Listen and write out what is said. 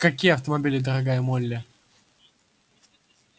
к-какие автомобили дорогая молли